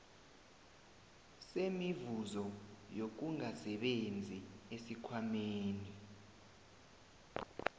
semivuzo yokungasebenzi esikhwameni